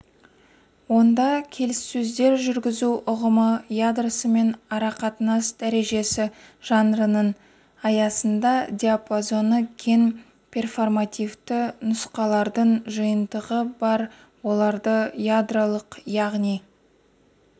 онда келіссөздер жүргізу ұғымы ядросымен арақатынас дәрежесі жанрының аясында диапазоны кең перформативті нұсқалардың жиынтығы бар оларды ядролық яғни